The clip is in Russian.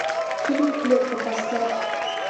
фильм клетка поставь